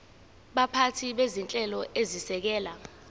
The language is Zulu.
baphathi bezinhlelo ezisekela